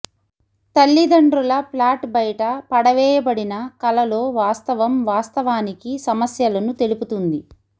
తల్లిదండ్రుల ఫ్లాట్ బయట పడవేయబడిన కలలో వాస్తవం వాస్తవానికి సమస్యలను తెలుపుతుంది